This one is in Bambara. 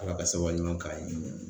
Ala ka sababu ɲuman k'an ye.